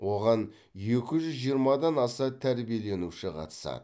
оған екі жүз жиырмадан аса тәрбиеленуші қатысады